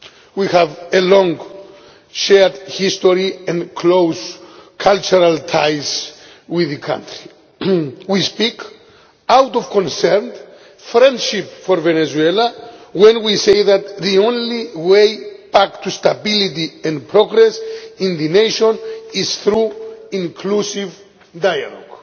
We have a long, shared history and close cultural ties with the country. We speak out of concern and friendship for Venezuela when we say that the only way back to stability and progress in the nation is through inclusive dialogue,